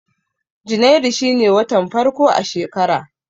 Janairu shine watan farko na shekara